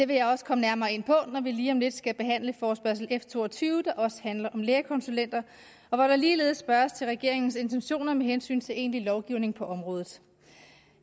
vil jeg også komme nærmere ind på når vi lige om lidt skal behandle forespørgsel nummer f to og tyve der også handler om lægekonsulenter og hvor der ligeledes spørges til regeringens intentioner med hensyn til egentlig lovgivning på området